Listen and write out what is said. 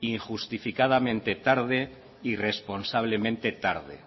injustificadamente tarde irresponsablemente tarde